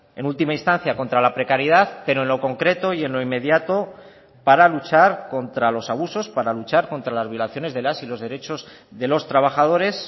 en última instancia contra la precariedad pero en lo concreto y en lo inmediato para luchar contra los abusos para luchar contra las violaciones de las y los derechos de los trabajadores